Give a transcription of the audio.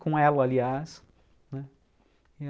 Com elo, aliás.